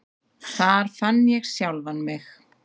Þar fann ég sjálfan mig.